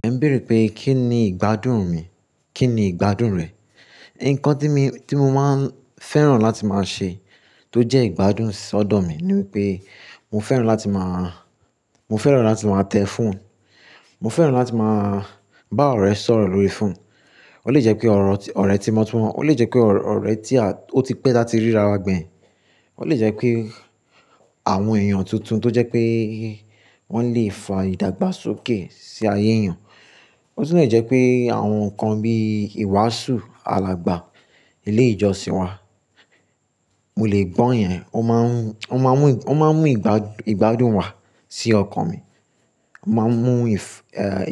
Ẹ ń béèrè pé kí ni ìgbádùn mi, kí ni ìgbádùn rẹ̀. Ǹkan tí mo máa ń fẹ́ràn láti máa ṣe tó jẹ́ ìgbádùn sọ̀dọ̀ mi ni wípé mo fẹ́ràn láti máa, mo fẹ́ràn láti máa tẹ foonu, mo fẹ́ràn láti máa bá ọ̀rẹ́ sọ̀rọ̀ lórí fóònù. Ó lè jẹ́ pé ọ̀rẹ́ tímó tímó, ó lè jẹ́ pé ọ̀rẹ́ tí ó ti pẹ́ tá tí ríra wa gbẹ̀yìn, ó lè jẹ́ pé àwọn èèyàn tuntun tó jẹ́ pé wọ́n lè fa ìdàgbàsókè sí ayé èèyàn. Ó sì lè jẹ́ pé àwọn nǹkan bí ìwàásù alàgbà, ilé ìjọsìn wá, mo lè gbọ́yẹn, ó máa ń mú ìgbádùn wá sí ọkàn mi. Ó máa ń mú